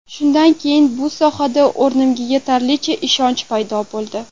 Shundan keyin bu sohada o‘zimga yetarlicha ishonch paydo bo‘ldi.